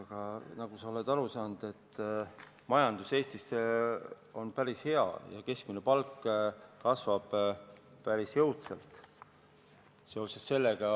Aga nagu sa oled aru saanud, majandus Eestis on päris heal järjel ja keskmine palk kasvab päris jõudsalt.